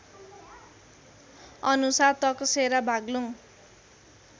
अनुसार तकसेरा बागलुङ